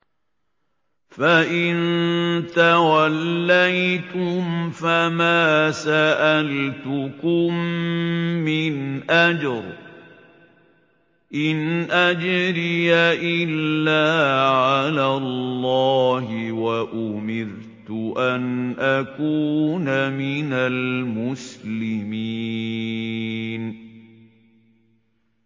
فَإِن تَوَلَّيْتُمْ فَمَا سَأَلْتُكُم مِّنْ أَجْرٍ ۖ إِنْ أَجْرِيَ إِلَّا عَلَى اللَّهِ ۖ وَأُمِرْتُ أَنْ أَكُونَ مِنَ الْمُسْلِمِينَ